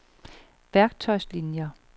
værktøjslinier